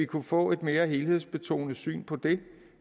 kunne få et mere helhedsbetonet syn på det